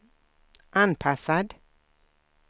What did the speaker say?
anpassad